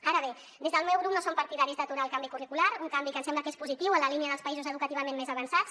ara bé des del meu grup no som partidaris d’aturar el canvi curricular un canvi que ens sembla que és positiu en la línia dels països educativament més avançats